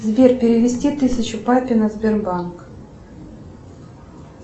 сбер перевести тысячу папе на сбербанк